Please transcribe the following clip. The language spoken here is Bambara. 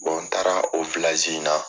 n taara o in na